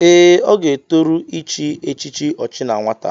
Ee, ọ ga-etoru ịchị echichi ọchi na nwata.